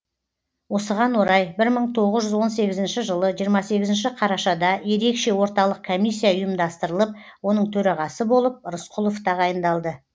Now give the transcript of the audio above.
осыған орай бір мың тоғыз жүз он сегізінші жылы жиырма сегізінші қарашада ерекше орталық комиссия ұйымдастырылып оның төрағасы болып рысқұлов тағайындалды